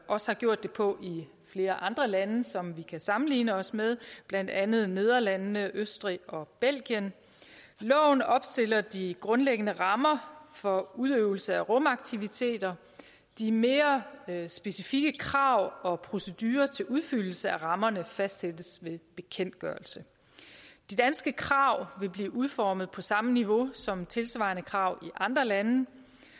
også har gjort det på i flere andre lande som vi kan sammenligne os med blandt andet nederlandene østrig og belgien loven opstiller de grundlæggende rammer for udøvelse af rumaktiviteter de mere mere specifikke krav og procedurer til udfyldelse af rammerne fastsættes ved bekendtgørelse de danske krav vil blive udformet på samme niveau som tilsvarende krav i andre lande